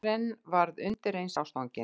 Karen varð undireins ástfangin.